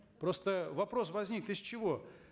просто вопрос возник из чего